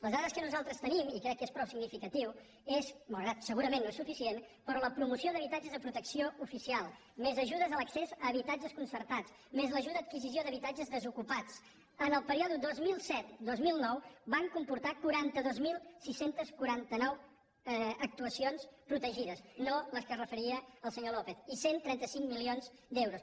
les dades que nosaltres tenim i crec que és prou significatiu és malgrat segurament no és suficient però la promoció d’habitatges de protecció oficial més ajudes a l’accés a habitatges concertats més l’ajuda a adquisició d’habitatges desocupats en el període dos mil set dos mil nou van comportar quaranta dos mil sis cents i quaranta nou actuacions protegides no les que referia el senyor lópez i cent i trenta cinc milions d’euros